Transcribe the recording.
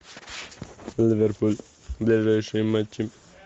ливерпуль ближайшие матчи